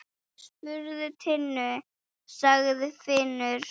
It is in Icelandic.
Spurðu Tinnu, sagði Finnur.